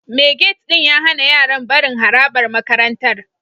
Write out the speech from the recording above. Mai gate ɗin ya hana yaran barin harabar makarantar